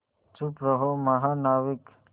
चुप रहो महानाविक